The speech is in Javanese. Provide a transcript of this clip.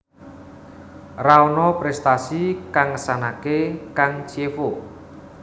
Ra ana prestasi kang ngesanake kang Chievo